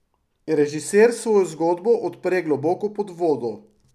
Režiser svojo zgodbo odpre globoko pod vodo.